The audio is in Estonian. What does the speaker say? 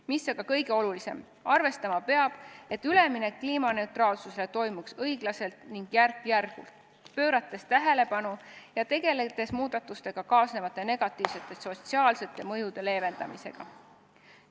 Mis aga kõige olulisem: arvestama peab, et üleminek kliimaneutraalsusele toimuks õiglaselt ning järk-järgult, pöörates tähelepanu muudatustega kaasnevatele negatiivsetele sotsiaalsetele mõjudele ja tegeldes nende leevendamisega.